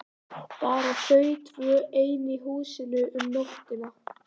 Bara þau tvö ein í húsinu um nóttina!